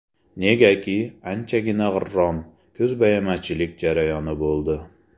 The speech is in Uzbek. Negaki, anchagina g‘irrom, ko‘zbo‘yamachilik jarayoni bo‘ldi.